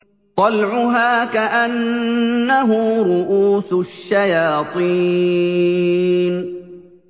طَلْعُهَا كَأَنَّهُ رُءُوسُ الشَّيَاطِينِ